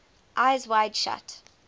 eyes wide shut